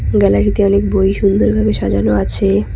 গ্যালারিতে অনেক বই সুন্দরভাবে সাজানো আছে।